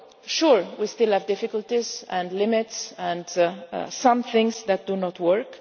Sure, we still have difficulties and limits, and some things that do not